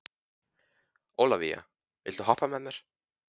Ólavía, viltu hoppa með mér?